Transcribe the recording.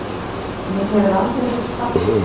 Mér hefur aldrei verið sparkað